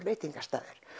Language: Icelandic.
veitingastaður